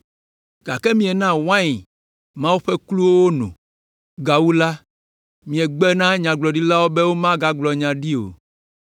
Gake miena wain Mawu ƒe kluwo wono. Gawu la, miegbe na nyagblɔɖilawo be womagblɔ nya ɖi o.